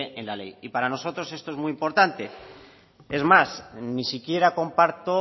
en la ley y para nosotros esto es muy importante es más ni siquiera comparto